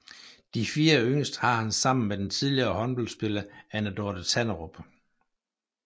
De fire yngste har han sammen med den tidligere håndboldspiller Anne Dorthe Tanderup